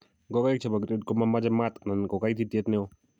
Ngokenik chebo grade komamache maat anan ko kaititiet neo